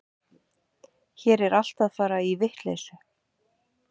Hér er allt að fara í vitleysu.